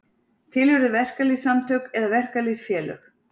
til urðu verkalýðssamtök eða verkalýðsfélög